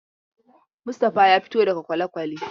Mustapha ya fito daga kwalekwale.